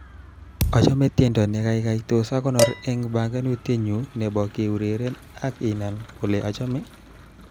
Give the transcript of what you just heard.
Achame tiendo ni kaikai tos akonor eng banganutietnyu nebo keureren ak inan kole achame